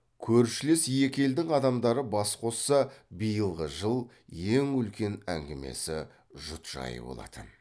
көршілес екі елдің адамдары бас қосса биылғы жыл ең үлкен әңгімесі жұт жайы болатын